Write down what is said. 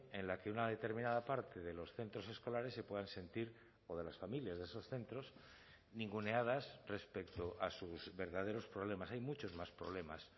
en la que una determinada parte de los centros escolares se puedan sentir o de las familias de esos centros ninguneadas respecto a sus verdaderos problemas hay muchos más problemas